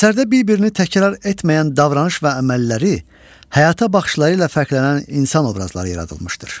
Əsərdə bir-birini təkrar etməyən davranış və əməlləri, həyata baxışları ilə fərqlənən insan obrazları yaradılmışdır.